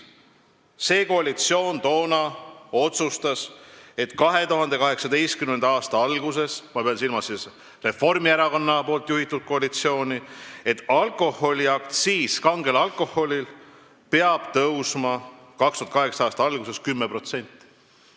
Toonane koalitsioon otsustas, et 2018. aasta alguses – ma pean silmas Reformierakonna juhitud koalitsiooni – peab kange alkoholi aktsiis tõusma 10%.